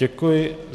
Děkuji.